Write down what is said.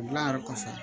O dilan yɔrɔ kɔfɛ